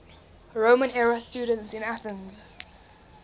roman era students in athens